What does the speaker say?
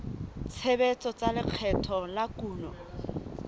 tshebetso tsa lekgetho la kuno